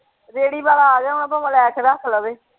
ਰੇਹੜੀ ਵਾਲਾ ਆ ਜਾਵੇ ਭਾਵੇਂ ਲੈ ਕੇ ਰੱਖ ਲਵੇ।